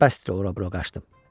Bəsdir ora-bura qaçdım.